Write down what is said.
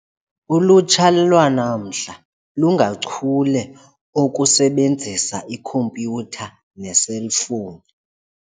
Ulutsha lwanamhla lungachule okusebenzisa ikhompyutha neeselfowuni.